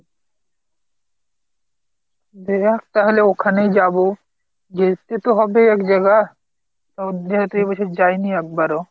তাহলে ওখানেই যাবো, যেতে তো হবে এক জাগা, যে~ যেহেতু এবছর যাইনি একবারও।